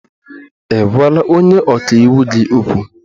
Ị gwala onye ọka iwu gị okwu?